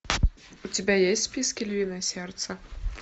у тебя есть в списке львиное сердце